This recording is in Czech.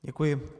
Děkuji.